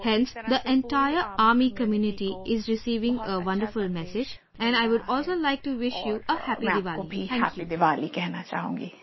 Hence the entire army community is receiving a wonderful message and I would also like to wish you a Happy Diwali